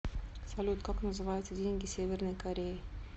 салют как называются деньги северной кореи